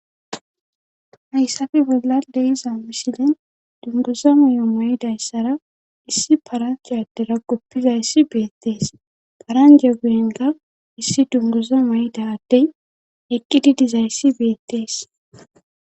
Hayssafe bolla de iza misilen dunguza muyo may7dayssara issi paranjaadera goppizayssi beettees paranje geenga issi dunguza may7da ddey eqqididizayssi beettees